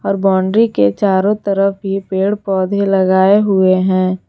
और बाउंड्री के चारों तरफ भी पेड़ पौधे लगाए हुए हैं।